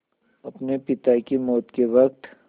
अपने पिता की मौत के वक़्त